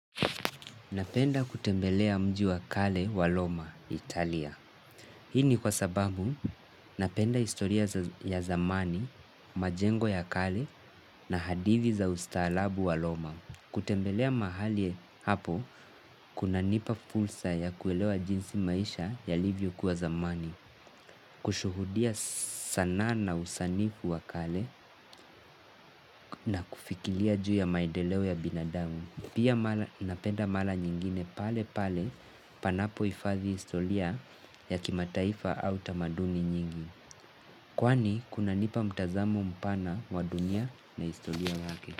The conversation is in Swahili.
Napenda kutembelea mji wa kale wa roma, Italia. Hii ni kwa sababu napenda historia ya zamani, majengo ya kale na hadithi za ustaarabu wa roma. Kutembelea mahali hapo, kunanipa fursa ya kuelewa jinsi maisha yalivyokuwa zamani. Kushuhudia sanaa na usanifu wa kale na kufikiria juu ya maendeleo ya binadamu. Pia napenda mara nyingine pale pale panapohifadhi historia ya kimataifa au tamaduni nyingi. Kwani kunanipa mtazamo mpana wa dunia na historia yake.